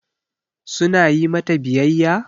Su na yi mata biyayya?